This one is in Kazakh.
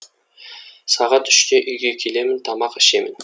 сағат үште үйге келемін тамақ ішемін